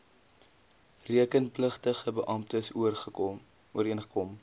rekenpligtige beamptes ooreengekom